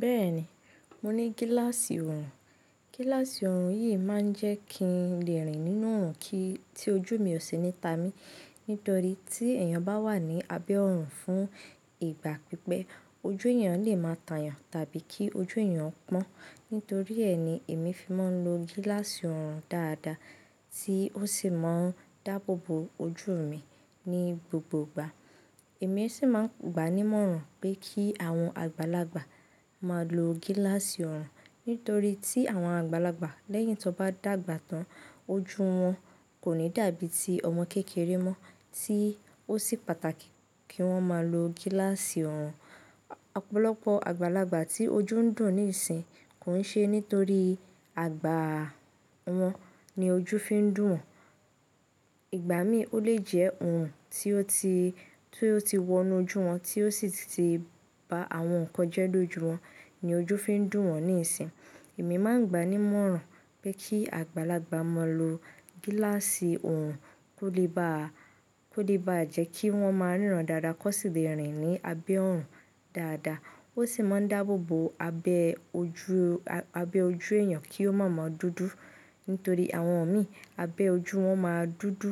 Bẹ́ẹ̀ni, mo ní gíláàsì ọrùn. Gíláàsì ọrùn yìí máa ń jẹ́ kí n lè rìn nínú òrùn kí i tí ojú mi ò ṣe ni ta mi. Nítorí tí èèyàn bá wà ní abẹ́ ọrùn fún ìgbà pípẹ́, ojú èèyàn lè máa yàn ẹ́ tàbí kí ojú èèyàn pọ́n. Nítorí ẹ́ ni èmi fi máa ń lo gíláàsì ọrùn dáadáa tí ó sì máa ń dáàbò bo ojú mi ní gbogbo ìgbà. Èmi sì máa ń gbani mọ́ ọ̀rùn pé kí àwọn àgbàlagbà máa lo gíláàsì ọrùn. Nítorí tí àwọn àgbàlagbà lẹ́yìn tí wọ́n bá dàgbà tán, ojú wọn kò ní dàbí ti ọmọ kékeré mọ́ tí ó sì pàtàkì kí wọ́n máa lo gíláàsì ọrùn. Ọ̀pọ̀lọpọ̀ àgbàlagbà tí ojú ń dùn níìsín kò ń ṣe nítorí àgbà wọn ni ojú fi ń dùn wọn. Ìgbà mí ó lè jẹ́ orun tí ó ti ti wọnú ojú wọn tí ó sì ti ba àwọn nǹkan jẹ́ lóju wọn ni ojú fi ń dùn wọn níìsín. Èmi máa ń gbani mọ́ ọ̀rùn pé kí àgbàlagbà máa lo gíláàsì ọrùn kó lè ba jẹ́ kí wọ́n máa ríran dáadáa kó sì lè rìn ní abẹ́ ọrùn dáadáa. Ó sì máa ń dáàbò bo abẹ́ ojú èèyàn kí ó máa mọ dúdú. Nítorí àwọn mí abẹ́ ojú wọn máa dúdú